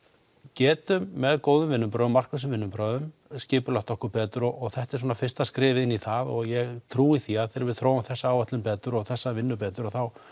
getum með góðum vinnubrögðum vinnubrögðum skipulagt okkur betur og þetta er svona fyrsta skrefið í það og ég trúi því að þegar við þróum þessa áætlun betur og þessa vinnu betur þá